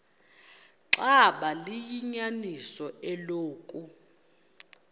xaba liyinyaniso eloku